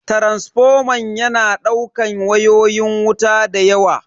Taransifoman yana daukan wayoyin wuta dayawa.